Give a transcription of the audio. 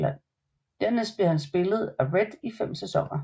Dernæst bliver han spillet af Rhett i 5 sæsoner